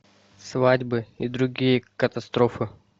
свадьбы и другие катастрофы